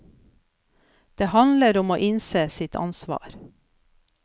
Det handler om å innse sitt ansvar.